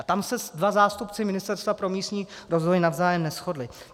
A tam se dva zástupci Ministerstva pro místní rozvoj navzájem neshodli.